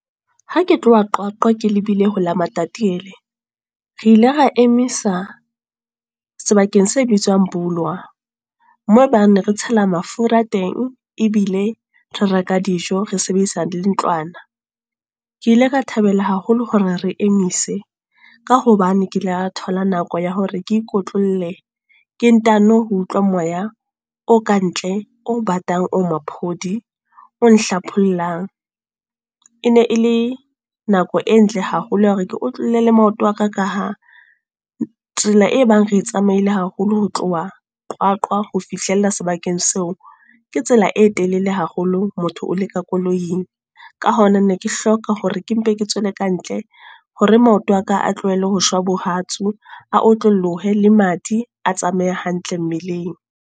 Ha ke tloha Qwaqwa, ke lebile hola Matatiele. Re ile ra emisa, sebakeng se bitswang Bolawa. Moo ebang re ne re tshela mafura a teng. Ebile re reka dijo, re sebedisa le ntlwana. Ke ile ka thabela haholo hore re emise. Ka hobane ke la thola nako ya hore ke ikotlolle, ke ntano ho utlwa moya o ka ntle, o batang o maphodi, o nhlaphollang. E ne e le nako e ntle haholo ya hore ke otlolle le maoto aka ka ha, tsela e bang re tsamaile haholo ho tloha Qwaqwa ho fihlella sebakeng seo, ke tsela e telele le le haholo motho o le ka koloing. Ka hona ne ke hloka hore ke mpe ke tswela kantle, hore maoto aka a tlohele hoshwa bohatsu a otlolohe. Le madi, a tsamaye hantle mmeleng.